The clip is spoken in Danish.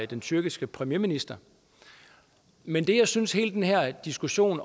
den tyrkiske premierminister men det jeg også synes hele den her diskussion